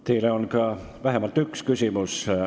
Teile on vähemalt üks küsimus.